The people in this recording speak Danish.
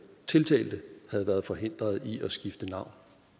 tiltalte havde været forhindret i at skifte navn